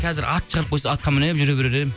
қазір ат шығарып қойса атқан мініп жүре берер едім